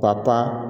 Ka taa